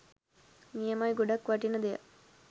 නියමයි ගොඩක් වටින දෙයක්